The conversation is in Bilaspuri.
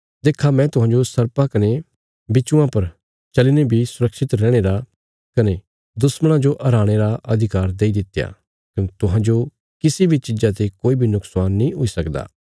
देक्खा मैं तुहांजो सर्पां कने बिच्छुआं पर चलीने बी सुरक्षित रैहणे रा कने दुश्मणां जो हराणे रा अधिकार देई दित्या कने तुहांजो किसी बी चीज़ा ते कोई बी नुक्शान नीं हुई सकदा